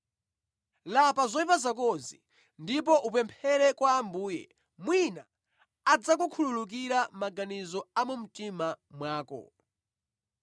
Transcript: Lapa zoyipa zakozi ndipo upemphere kwa Ambuye. Mwina adzakukhululukira maganizo a mu mtima mwako.